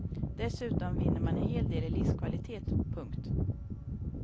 Dessutom vinner man en hel del i livskvalitet. punkt